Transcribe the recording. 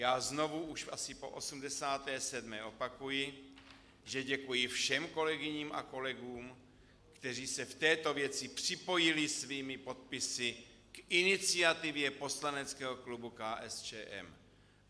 Já znovu, už asi po 87., opakuji, že děkuji všem kolegyním a kolegům, kteří se v této věci připojili svými podpisy k iniciativě poslaneckého klubu KSČM.